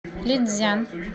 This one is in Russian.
лицзян